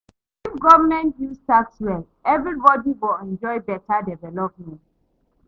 If government use tax well, everybody go enjoy beta development.